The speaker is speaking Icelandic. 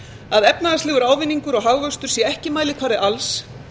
að efnahagslegur ávinningur og hagvöxtur sé ekki mælikvarði alls